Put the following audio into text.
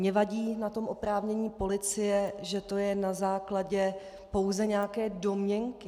Mně vadí na tom oprávnění policie, že to je na základě pouze nějaké domněnky.